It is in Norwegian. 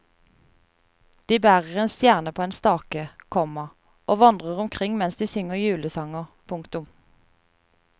De bærer en stjerne på en stake, komma og vandrer omkring mens de synger julesanger. punktum